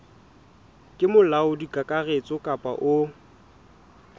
ke molaodi kakaretso kapa o